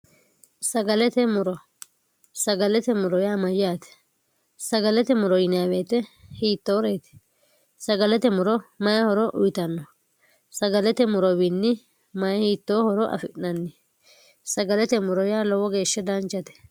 sagalete muro sagalete muro yaa mayyaate sagalete muro yiniyaweete hiittooreeti sagalete muro mayihoro uyitanno sagalete murowiinni mayi hiittoo horo afi'nanni sagalete muro yaa lowwo geeshshe daanchate